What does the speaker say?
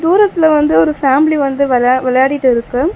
தூரத்துல வந்து ஒரு ஃபேமிலி வந்து வெளா விளையாடிட்டிருக்கு.